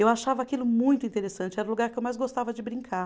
Eu achava aquilo muito interessante, era o lugar que eu mais gostava de brincar.